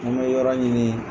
An me yɔrɔ ɲini.